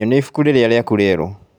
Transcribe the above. Nyonia ibuku rĩrĩa rĩaku rĩerũ